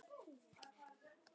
Þetta er ykkar dagur.